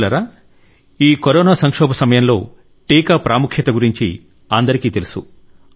మిత్రులారా ఈ కరోనా సంక్షోభ సమయంలో టీకా ప్రాముఖ్యత అందరికీ తెలుసు